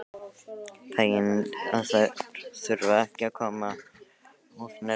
Fegin að þurfa ekki að koma of nærri honum.